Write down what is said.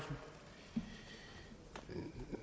det